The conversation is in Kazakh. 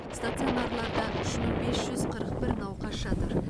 стационарларда үш мың бес жүз қырық бір науқас жатыр